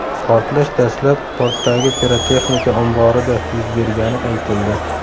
Portlash dastlab, portdagi pirotexnika omborida yuz bergani aytildi.